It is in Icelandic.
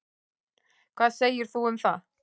Hvað segir þú um það?